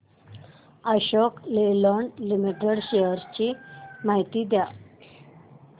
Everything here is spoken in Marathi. अशोक लेलँड लिमिटेड शेअर्स ची माहिती द्या